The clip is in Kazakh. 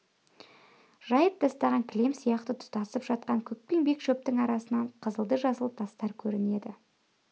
жайып тастаған кілем сияқты тұтасып жатқан көкпеңбек шөптің арасынан қызылды-жасыл тастар көрінеді